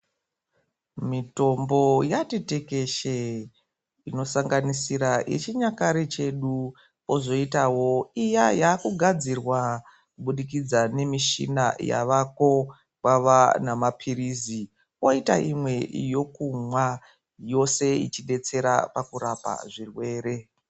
Mitombo yati tekeshe ino sanganisira ye chinyakare chedu kozo itawo iya yaku gadzirwa kubudikidza ne mishina yavako kwava na mapirizi koita imwe yokumwa yose ichi detsera pakurapa zvirwere.